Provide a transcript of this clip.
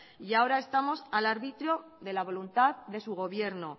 y ahora estamos al arbitrio de la voluntad de su gobierno